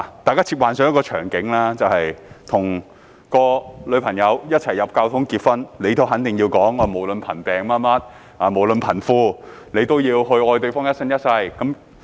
大家試想象一個場景，你跟女朋友走進教堂，結婚時肯定要說"無論貧富等，都要愛對方一生一世"。